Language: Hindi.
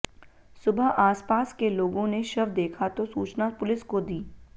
सुबह आसपास के लोगों ने शव देखा तो सूचना पुलिस को दी